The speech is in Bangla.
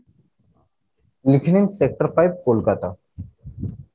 লিখে নিন sector five কোলকাতা